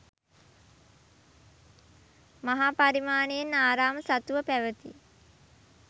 මහා පරිමාණයෙන් ආරාම සතුව පැවති